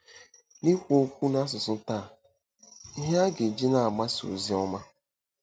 Na-ekwu Okwu n’Asụsụ Taa—Ihe A Ga-eji Na-agbasa Ozi Ọma?